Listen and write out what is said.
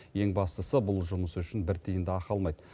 ең бастысы бұл жұмысы үшін бір тиын да ақы алмайды